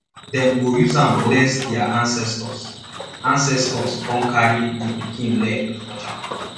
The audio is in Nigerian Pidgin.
dem go use am bless dia ancestors ancestors con carry di pikin leg touch am